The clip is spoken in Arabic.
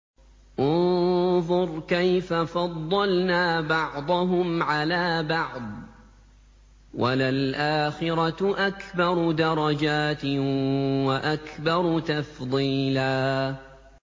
انظُرْ كَيْفَ فَضَّلْنَا بَعْضَهُمْ عَلَىٰ بَعْضٍ ۚ وَلَلْآخِرَةُ أَكْبَرُ دَرَجَاتٍ وَأَكْبَرُ تَفْضِيلًا